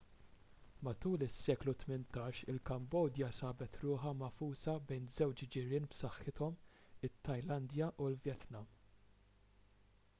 matul is-seklu 18 il-kambodja sabet ruħha magħfusa bejn żewġ ġirien b'saħħithom it-tajlandja u l-vjetnam